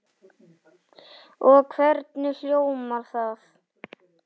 Og hvernig hljómar það?